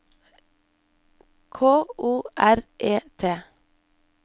K O R E T